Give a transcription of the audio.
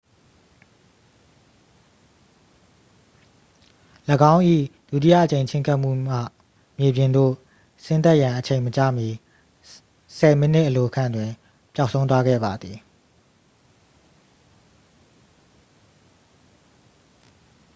၎င်း၏ ဒုတိယအကြိမ်ချဉ်းကပ်မှုမှ မြေပြင်သို့ဆင်းသက်ရန်အချိန်မကျမီ ဆယ်မိနစ်အလိုခန့်တွင် ပျောက်ဆုံးသွားခဲ့ပါသည်